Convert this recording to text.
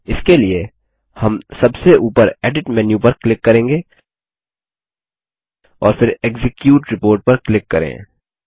इसके लिए हम सबसे ऊपर एडिट मेन्यू पर क्लिक करेंगे और फिर एक्जीक्यूट रिपोर्ट पर क्लिक करें